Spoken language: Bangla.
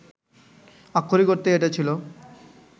আক্ষরিক অর্থেই এটা ছিল